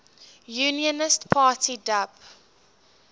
unionist party dup